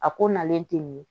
A ko nalen tɛ nin ye